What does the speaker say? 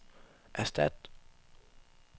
erstat